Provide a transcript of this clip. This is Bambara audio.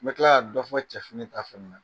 N bɛ tila ka dɔ fɔ cɛfini ta fana na